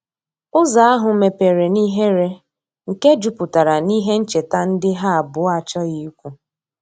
Ụzo ahu mepere n'ihere nke juputara n'ihe ncheta ndi ha abuo achoghi ikwu